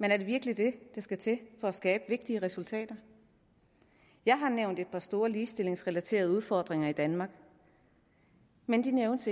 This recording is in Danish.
men er det virkelig det der skal til for at skabe vigtige resultater jeg har nævnt et par store ligestillingsrelaterede udfordringer i danmark men de nævnes